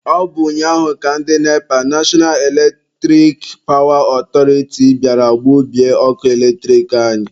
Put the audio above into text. Ọ bụ ụnyaahụ ka ndị NEPA(National Eletric Power Authority) bịara gbubie ọkụ eletrik anyị.